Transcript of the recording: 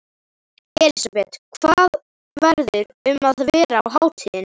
Elísabet: Hvað verður um að vera á hátíðinni?